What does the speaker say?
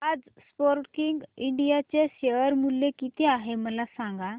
आज Sportking India चे share मूल्य किती आहे मला सांगा